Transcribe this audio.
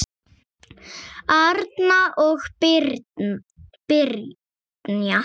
Arna og Brynja.